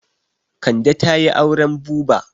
Kande ta yi auren buba.